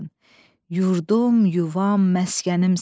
Yurdum, yuvam, məskənimsən.